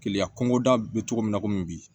Keleya kɔnkoda be cogo min na komi bi